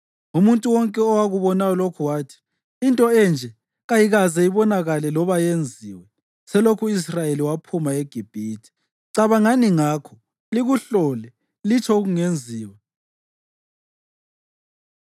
Umuntu wonke owakubonayo lokho wathi, “Into enje kayikaze ibonakale loba yenziwe, selokhu u-Israyeli waphuma eGibhithe. Cabangani ngakho! Likuhlole! Litsho okungenziwa!”